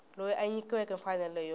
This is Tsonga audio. loyi a nyikiweke mfanelo yo